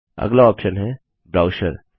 अगला ऑप्शन है ब्रोचुरे